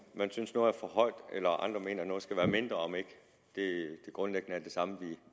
man synes noget er for højt eller om andre mener at noget skal være mindre og om ikke det grundlæggende er det samme